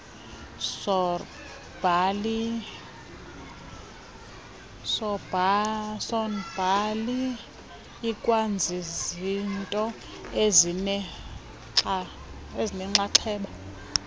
sornbhali ikwazizinto ezinenxaxheba